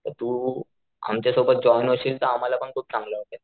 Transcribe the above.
तर तू आमच्या सोबत जाऊन येशील तर आम्हला पण खूप चांगल वाटेल.